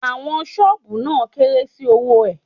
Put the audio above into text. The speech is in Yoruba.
Àwọn ṣọ́ọ̀bù náà kéré sí owó ẹ̀.